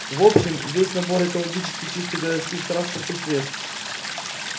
в общем весь набор экологически чистых городских транспортных средств